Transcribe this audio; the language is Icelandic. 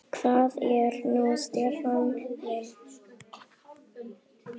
Hvað er nú Stefán minn?